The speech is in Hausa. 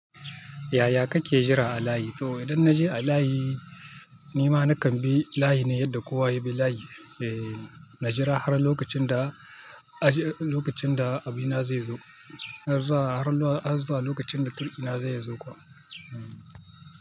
Yaya kake jira a layi? To idan na je a layi, nni ma na kambi layi ne yadda kowa ya bi layi. Eh, na jira har lokacin da, har lokacin da abina zai zo. Har zuwa, har zuwa lokacin da turkina zai zo kuwa. Hmm.